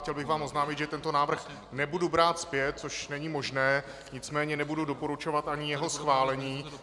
Chtěl bych vám oznámit, že tento návrh nebudu brát zpět, což není možné, nicméně nebudu doporučovat ani jeho schválení.